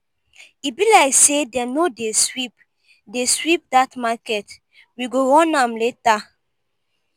e be like say dem no dey sweep dey sweep dat market we go run am later.